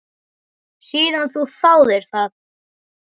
Síðan þú þáðir það?